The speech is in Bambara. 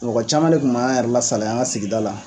Mɔgɔ cama de kun b'an yɛrɛ lasaliya an ga sigida la